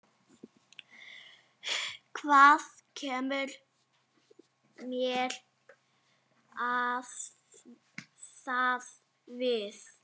Hvað kemur mér það við?